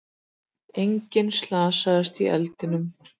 Enginn slasaðist í eldinum